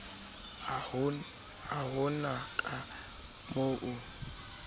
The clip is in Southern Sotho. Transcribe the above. ha ho na ka moo